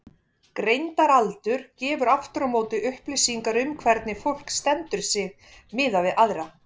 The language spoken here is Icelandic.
Greindaraldur gefur aftur á móti upplýsingar um hvernig fólk stendur sig miðað við aðra.